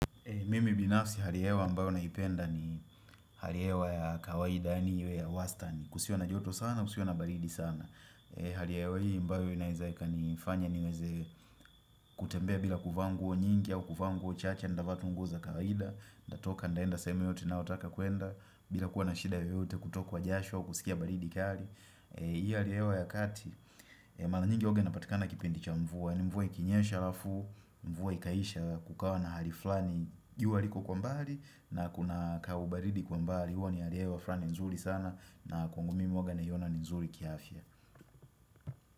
Mimi binafsi hali ya hewa ambayo naipenda ni hali ya hewa ya kawaida iwe ya wastani kusiwe na joto sana kusiwe na baridi sana Hali ya hewa hii ambayo inaweza ikanifanya niweze kutembea bila kuvaa nguo nyingi au kuvaa nguo chache nitavaa tu nguo za kawaida, natoka naenda sehemu yoyote ninayotaka kuenda bila kuwa na shida yoyote kutokwa jasho kusikia baridi kali Hii hali ya hewa ya kati, mara nyingi huwa inapatikana kipindi cha mvua yaani mvua ikinyesha halafu, mvua ikaisha kukawa na hali fulani jua liko kwa mbali na kuna kaubaridi kwa mbali. Huwa ni hali ya hewa fulani nzuri sana na kwangu mimi huwa naiona ni nzuri kiafya.